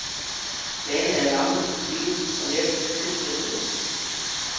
Bladene er lange, stive og let tilspidsede.